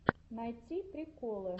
найти приколы